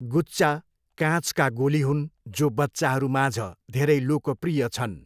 गुच्चा काँचका गोली हुन् जो बच्चाहरूमाझ धेरै लोकप्रिय छन्।